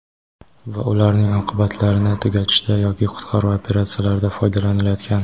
va ularning oqibatlarini tugatishda yoki qutqaruv operatsiyalarida foydalanilayotgan;.